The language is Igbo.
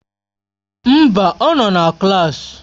Mba, ọ nọ na klaasị.